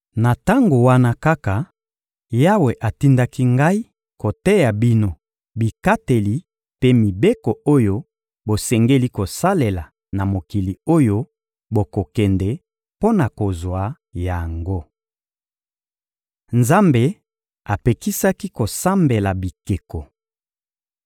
Na tango wana kaka, Yawe atindaki ngai koteya bino bikateli mpe mibeko oyo bosengeli kosalela na mokili oyo bokokende mpo na kozwa yango. Nzambe apekisaki kosambela bikeko